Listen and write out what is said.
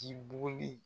K'i buguri